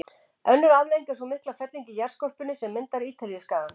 Önnur afleiðing er sú mikla felling í jarðskorpunni sem myndar Ítalíuskagann.